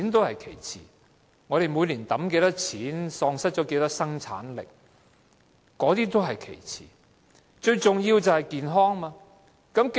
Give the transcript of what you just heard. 香港每年要花多少錢或喪失多少生產力是其次，最重要的是市民的健康。